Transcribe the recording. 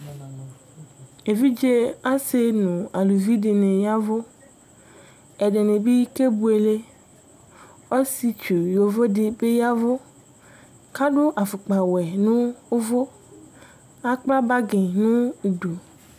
evidze asi nʊ eluvi dɩnɩ yavʊ, ɛdɩnɩ bɩ kebuele, ɔsietsu ɛtufue dɩ bɩ yɛvʊ, kʊ adʊ ɛlɛnutiwɛ, kʊ asuia akpo nʊ idu